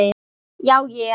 Já ég.